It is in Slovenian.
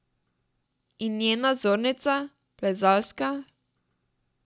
In njena vzornica, plezalska?